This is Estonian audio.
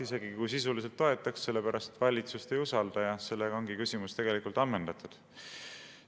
Isegi kui sisuliselt toetaks, aga valitsust ei usalda, ja sellega ongi küsimus ammendatud.